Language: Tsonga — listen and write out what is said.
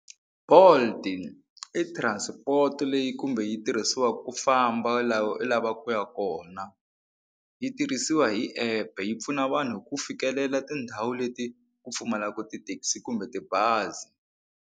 Bolt i transport leyi kumbe yi tirhisiwaka ku famba laha u lavaka ku ya kona yi tirhisiwa hi epe yi pfuna vanhu ku fikelela tindhawu leti ku pfumalaka tithekisi kumbe tibazi.